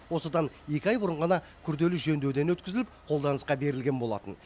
осыдан екі ай бұрын ғана күрделі жөндеуден өткізіліп қолданысқа берілген болатын